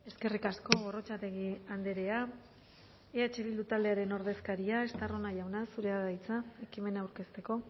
eskerrik asko gorrotxategi andrea eh bildu taldearen ordezkaria estarrona jauna zurea da hitza ekimena aurkezteko